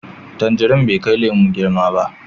Tangirin bai kai lemo girma ba.